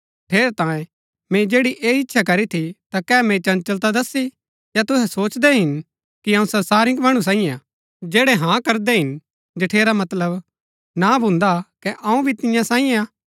ठेरैतांये मैंई जैड़ी ऐह इच्छा करी थी ता कै मैंई चंचलता दसी या तुहै सोचदै हिन कि अऊँ संसारिक मणु सांईयै हा जैड़ै हाँ करदै हिन जठेरा मतलब ना भून्दा कै अऊँ भी तियां सांईयै हा